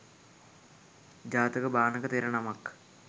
ජාතක භාණක තෙර නමක්